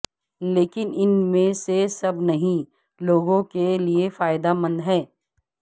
لیکن ان میں سے سب نہیں لوگوں کے لئے فائدہ مند ہیں